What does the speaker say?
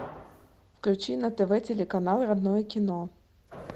включи на тв телеканал родное кино